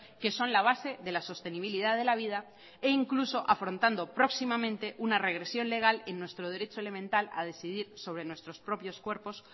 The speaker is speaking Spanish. que son la base de la sostenibilidad de la vida e incluso afrontando próximamente una regresión legal en nuestro derecho elemental a decidir sobre nuestros propios cuerpos